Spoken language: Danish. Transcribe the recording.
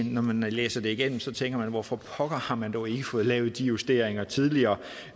når man læser det igennem tænker man hvorfor pokker har man dog ikke fået lavet de justeringer tidligere